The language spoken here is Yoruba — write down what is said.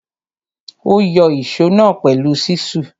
Ó yọ ìsó náà pẹ̀lú ṣísù.